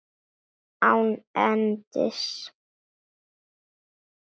Án endis.